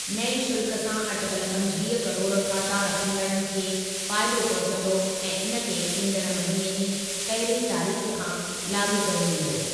नएं शुल्कु सां अटिकल पंजवीह किरोड़ ख़ाता रखंदड़नि खे फ़ाइदो पहुचंदो ऐं इन खे ईंदड़ महिने जी पहिरीं तारीख़ खां लाॻू कयो वेंदो।